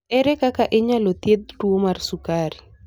Ere kaka inyalo thiedh tuwo mar sukari?